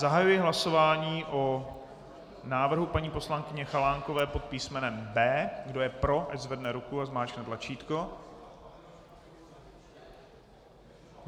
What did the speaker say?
Zahajuji hlasování o návrhu paní poslankyně Chalánkové pod písm. B. Kdo je pro, ať zvedne ruku a zmáčkne tlačítko.